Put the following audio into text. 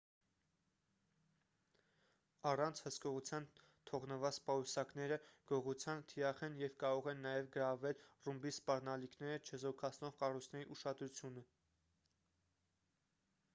առանց հսկողության թողնված պայուսակները գողության թիրախ են և կարող են նաև գրավել ռումբի սպառնալիքները չեզոքացնող կառույցների ուշադրությունը